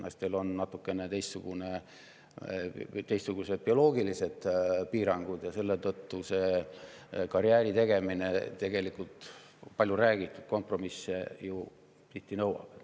Naistel on natukene teistsugused bioloogilised piirangud ja seetõttu nõuab karjääri tegemine, nagu palju räägitud, tihti kompromisse.